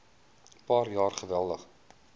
paar jaar geweldig